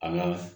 An ka